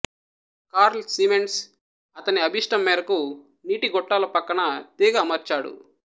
curl Siemens అతని అభీష్టం మేరకు నీటి గొట్టాల పక్క న తీగ అమర్చాడు